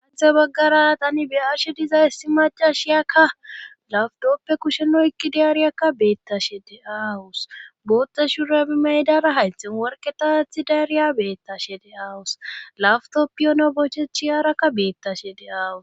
Sinthe baggara tani biyarshe dizay si macashiyakka lafdooppe kusheno ekkidiaariyakka beettashe de aawus bootta shuuurabi maydara haythen worketaathi daariya beettashe de aawus laftop piyona bochechi yaarakka beettashe de aawus